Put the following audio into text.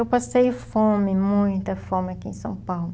Eu passei fome, muita fome aqui em São Paulo.